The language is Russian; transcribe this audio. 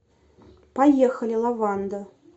поехали лаванда